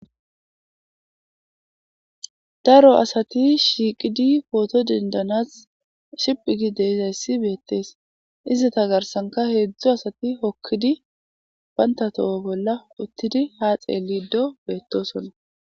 Daro asati shiiqidi pooto dendanas shiphi gi deizayssi beettees izita garsanka heedzdzu asati hokkidi bayntatoho bolla uttidi ha xeelido beettosonna.